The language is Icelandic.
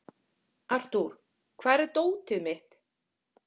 Arthur, hvar er dótið mitt?